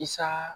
Isaa